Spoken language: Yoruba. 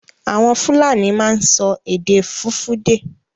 Àwọn Fúlàní máa ń sọ èdè Fùfúdè.